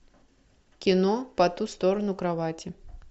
кино по ту сторону кровати